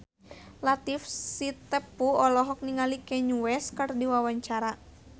Latief Sitepu olohok ningali Kanye West keur diwawancara